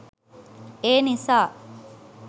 ඒ නිසා